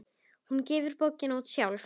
Hún gefur bókina út sjálf.